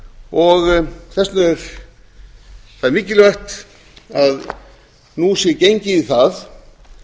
og þess vegna er það mikilvægt að nú sé gengið í það